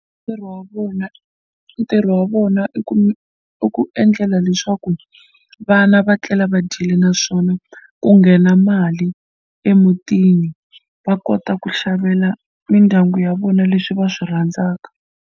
Ntirho wa vona ntirho wa vona i ku i ku endlela leswaku vana va tlela va dyile naswona ku nghena mali emutini va kota ku xavela mindyangu ya vona leswi va swi rhandzaka.